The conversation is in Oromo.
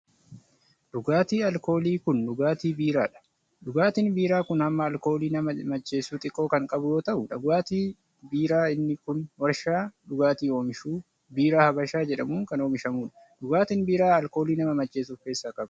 Dhugaatiin alkoolii kun, dhugaatii biiraa dha. Dhugaatiin biiraa kun hamma alkoolii nama macheessu xiqqoo kan qabu yoo ta'u, dhugaatiin biiraa inni kun warshaa dhugaatii oomishuu Biiraa Habashaa jedhamuun kan oomishamuu dha. Dhugaatiin biiraa ,alkoolii nama macheessu of keessaa qaba.